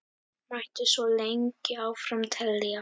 Mætti svo lengi áfram telja.